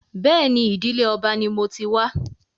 Bẹ́ẹ̀ni, ìdìlé ọba ni mo ti wá